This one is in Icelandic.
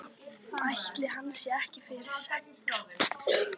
Ætli hann sé ekki fyrir sex?